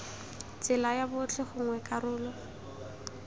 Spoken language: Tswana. tsela ya botlhe gongwe karolo